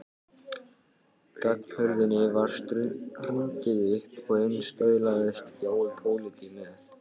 Ganghurðinni var hrundið upp og inn staulaðist Jói pólití með